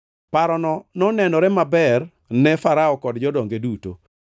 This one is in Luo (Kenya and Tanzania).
Parono nonenore maber ni Farao kod jodonge duto.